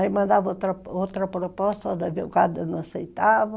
Aí mandava outra proposta, o advogado não aceitava.